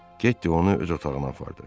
Ketty onu öz otağına apardı.